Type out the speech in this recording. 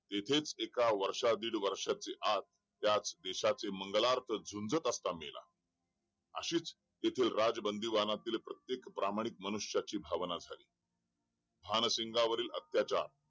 इथेच एका वर्षा दिड वर्षाच्या आत त्या देशाच्या मंगला अर्थ झुंजत असताना मेला अशीच येथे राज बंदीवानांतील प्रत्येक प्रामाणिक मनुष्याची भावना झाली भानसिंग वरील अत्याचार